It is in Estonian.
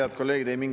Head kolleegid!